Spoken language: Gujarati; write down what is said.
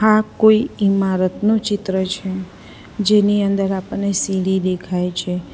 આ કોઈ ઈમારતનું ચિત્ર છે જેની અંદર આપણને સીડી દેખાય છે.